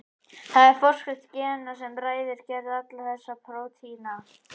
Það er forskrift gena sem ræður gerð allra þessara prótína.